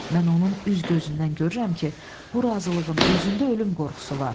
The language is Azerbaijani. Mən onun üz-gözündən görürəm ki, bu razılığın özündə ölüm qorxusu var.